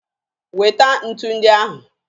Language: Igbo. Weta ntu ndị ahụ!